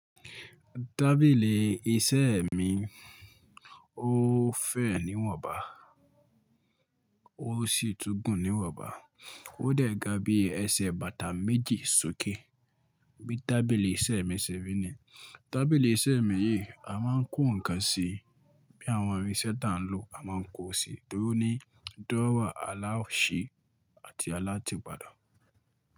Tábìlì iṣẹ́ mi, ó fẹ̀ níwọ̀nba, ó sì túgùn níwọ̀nba. Ó dẹ̀ ga bí ẹsẹ̀ bàtà méjì sókè. Bí tábìlì iṣẹ́ mi ṣe rí ní. Tábìlì iṣẹ́ mi yìí, a máa ń kó nǹkan sí i. Bí àwọn irinṣẹ́ tá ń lò, a máa ń kó sí i. Torí ní, dóòwà alásè àti alátìpadà.